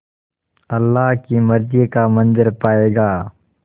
अल्लाह की मर्ज़ी का मंज़र पायेगा